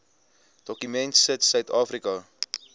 dokument sit suidafrika